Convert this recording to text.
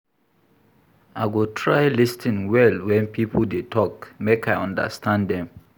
I go try lis ten well wen pipo dey tok make I understand dem.